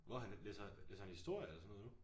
Hvor han læser læser han historie eller sådan noget nu?